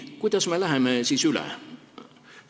Kuidas me siis üle läheme?